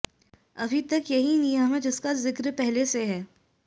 अभी तक यही नियम है जिसका जिक्र पहले से है